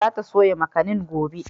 Za ta soya makanin gobe.